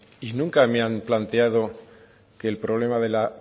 y nunca me han planteado que el problema de la